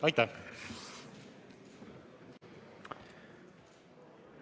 Aitäh!